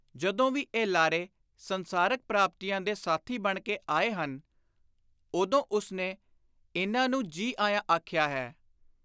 ਜਦੋਂ ਵੀ ਇਹ ਲਾਰੇ ਸੰਸਾਰਕ ਪ੍ਰਾਪਤੀਆਂ ਦੇ ਸਾਥੀ ਬਣ ਕੇ ਆਏ ਹਨ, ਉਦੋਂ ਉਸਨੇ ਇਨ੍ਹਾਂ ਨੂੰ ਜੀ ਆਇਆਂ ਆਖਿਆ ਹੈ।